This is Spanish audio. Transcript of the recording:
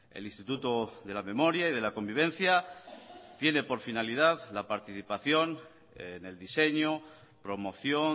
el instituto de la memoria y de la convivencia tiene por finalidad la participación en el diseño promoción